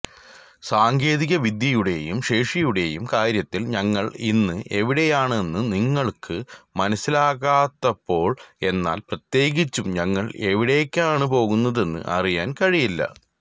സാങ്കേതികവിദ്യയുടെയും ശേഷിയുടെയും കാര്യത്തിൽ ഞങ്ങൾ ഇന്ന് എവിടെയാണെന്ന് നിങ്ങൾക്ക് മനസ്സിലാകാത്തപ്പോൾ എന്നാൽ പ്രത്യേകിച്ചും ഞങ്ങൾ എവിടേക്കാണ് പോകുന്നതെന്ന് അറിയാൻ കഴിയില്ല